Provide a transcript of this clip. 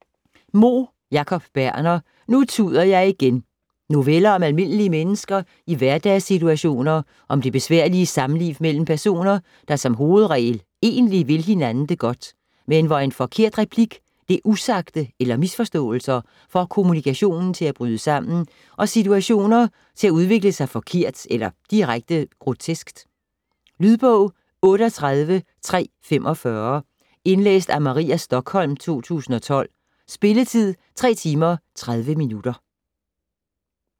Moe, Jacob Berner: Nu tuder jeg igen Noveller om almindelige mennesker i hverdagssituationer om det besværlige samliv mellem personer, der som hovedregel egentlig vil hinanden det godt, men hvor en forkert replik, det usagte eller misforståelser får kommunikationen til at bryde sammen og situationer til at udvikle sig forkert eller direkte groteskt. Lydbog 38345 Indlæst af Maria Stokholm, 2012. Spilletid: 3 timer, 30 minutter.